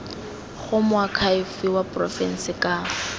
go moakhaefe wa porofense ka